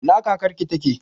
Ina kakar ki take?